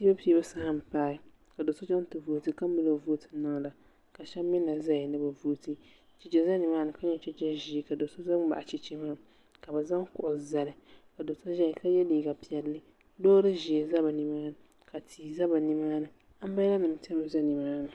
Piibu piibu saha n paai ka do so chaŋ ti vooti ka mali o vooti n niŋda ka shɛba mi na zaya ni be vooti chɛchɛ za nimaa ni ka nyɛ chɛchɛ ʒɛɛ ka so zani n baɣ chɛchɛ maa ka be zaŋ kuɣu zali ka doo so zaya ka yɛ liiga pɛlli loori ʒɛɛ za nimaa ni ka tihi za nimaa ni andraala nima timi za nimaa ni